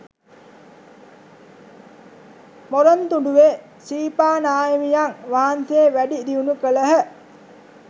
මොරොන්තුඩුවේ ශ්‍රීපා නාහිමියන් වහන්සේ වැඩි දියුණු කළහ.